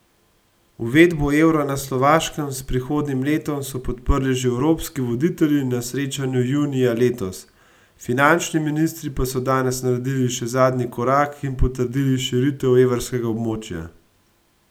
Uvedbo evra na Slovaškem s prihodnjim letom so podprli že evropski voditelji na srečanju junija letos, finančni ministri pa so danes naredili še zadnji korak in potrdili širitev evrskega območja.